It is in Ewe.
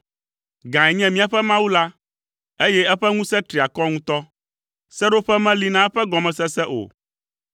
Gãe nye míaƒe Aƒetɔ la, eye eƒe ŋusẽ tri akɔ ŋutɔ, seɖoƒe meli na eƒe gɔmesese o.